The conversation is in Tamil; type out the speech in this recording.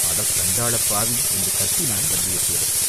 "அட சண்டாளப் பாவி!" என்று கத்தினான் வந்தியத்தேவன்.